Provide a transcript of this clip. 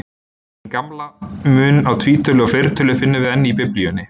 Hinn gamla mun á tvítölu og fleirtölu finnum við enn í Biblíunni.